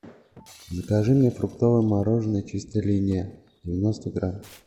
закажи мне фруктовое мороженое чистая линия девяносто грамм